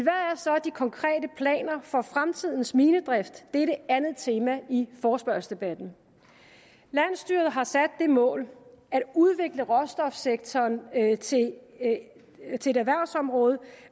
så de konkrete planer for fremtidens minedrift det er det andet tema i forespørgselsdebatten landsstyret har sat det mål at udvikle råstofsektoren til et erhvervsområde